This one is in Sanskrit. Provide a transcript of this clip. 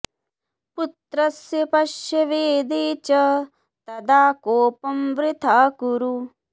पुत्रस्य पश्य वेदे च तदा कोपं वृथा कुरु